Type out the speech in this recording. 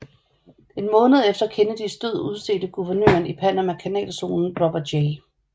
En måned efter Kennedys død udstedte guvernøren i Panamakanalzonen Robert J